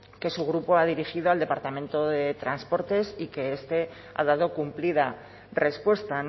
que su grupo ha dirigido al departamento de transportes y que este ha dado cumplida respuesta